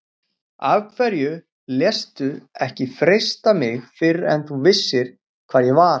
Af hverju léstu ekki frelsa mig fyrr ef þú vissir hvar ég var.